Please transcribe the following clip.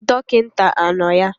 Dokita ano ya?